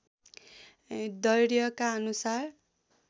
दैर्घ्यका अनुसार